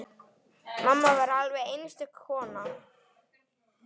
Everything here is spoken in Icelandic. Mamma var alveg einstök kona.